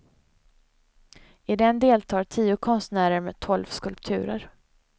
I den deltar tio konstnärer med tolv skulpturer.